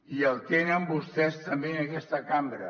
i el tenen vostès també en aquesta cambra